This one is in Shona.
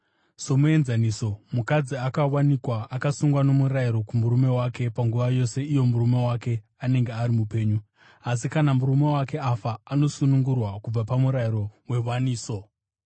Somuenzaniso, mukadzi akawanikwa akasungwa nomurayiro kumurume wake panguva yose iyo murume wake anenge ari mupenyu, asi kana murume wake afa, anosunungurwa kubva pamurayiro wewaniso.